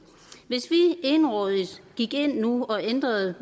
hvis vi egenrådigt gik ind nu og ændrede